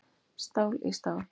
Stál í stál